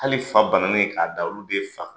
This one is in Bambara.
Hali fa bananen k'a da olu de ye fa